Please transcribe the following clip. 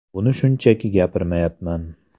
Buni shunchaki gapirmayapman.